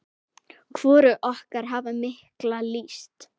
Hvorug okkar hafði mikla lyst.